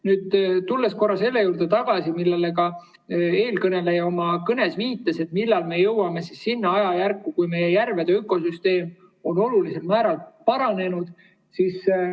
Tulen korra tagasi selle juurde, millele ka eelkõneleja oma kõnes viitas, et millal me jõuame sinna ajajärku, kui meie järvede ökosüsteem on olulisel määral paranenud.